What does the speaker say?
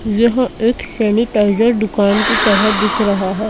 यह एक सैनिटाइजर दुकान की तरह दिख रहा है।